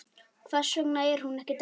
Hvers vegna var hún ekki dáin?